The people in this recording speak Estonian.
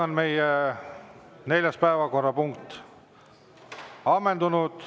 Meie neljas päevakorrapunkt on ammendunud.